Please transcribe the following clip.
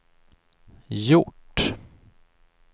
gjort